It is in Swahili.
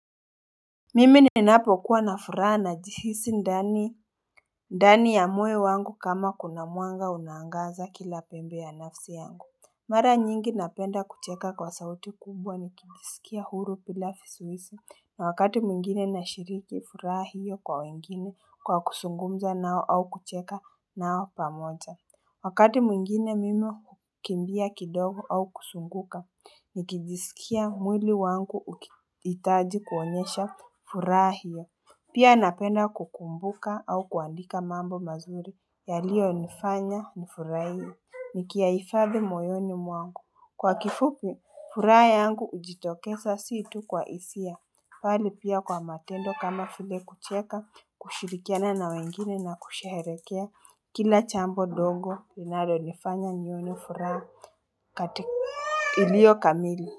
Mimi ninapo kuwa na furaha na jihisi ndani ya moyo wangu kama kuna mwanga unaangaza kila pembe ya nafsi yangu Mara nyingi napenda kucheka kwa sauti kumbwa ni kijisikia huru pilafi suisi na wakati mwingine na shiriki furaha hiyo kwa wengine kwa kusungumza nao au kucheka nao pamoza Wakati mwingine mimo kumbia kidogu au kusunguka, nikijisikia mwili wangu itaji kuonyesha furahia. Pia napenda kukumbuka au kuandika mambo mazuri, ya liyo nifanya mfurahi. Nikiaifadhi moyoni mwangu, kwa kifupu furahia yangu ujitokeza situ kwa isia. Pali pia kwa matendo kama file kucheka kushirikiana na wengine na kusherekea kila jambo dongo linalo nifanya nioni fura katika ilio kamili.